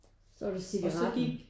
Så var det cigaretten